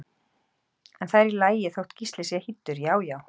En það er í lagi þótt Gísli sé hýddur, já já!